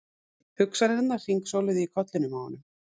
Hugsanirnar hringsóluðu í kollinum á honum.